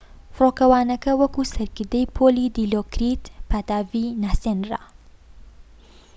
فڕۆکەوانەکە وەک سەرکردەی پۆلی دیلۆکریت پاتاڤی ناسێنرا